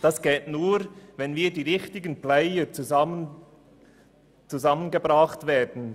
Das wiederum geht nur, wenn die richtigen Player zusammengebracht werden.